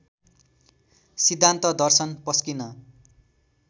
सिद्धान्त दर्शन पस्किन